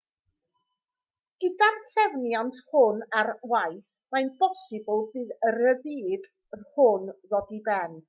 gyda'r trefniant hwn ar waith mae'n bosibl bydd y rhyddid hwn ddod i ben